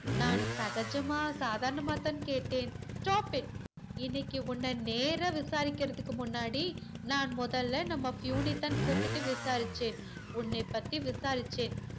நான் சகஜமா சாதாரணமாதா கேட்டேன் stop it இன்னைக்கி உன்ன நேரா விசாரிக்கறதுக்கு முன்னாடி நான் முதல்ல நம்ம பியுனைதான் கூப்பிட்டு விசாரிச்சேன் உன்னை பத்தி விசாரிச்சேன்